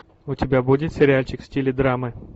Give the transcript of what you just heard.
у тебя будет сериальчик в стиле драмы